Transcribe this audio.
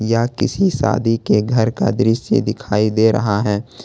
यह किसी शादी के घर का दृश्य दिखाई दे रहा है।